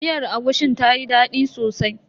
Miyar agushin tayi daɗi sosai.